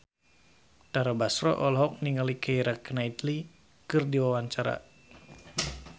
Tara Basro olohok ningali Keira Knightley keur diwawancara